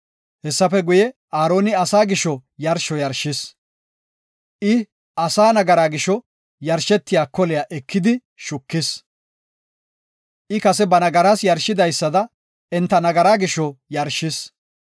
Hessafe guye, Aaroni asaa gisho yarsho yarshis. I asaa nagaraa gisho yarshetiya koliya ekidi shukis; I kase ba nagaraa yarshidaysada enta nagaraa gisho yarshis.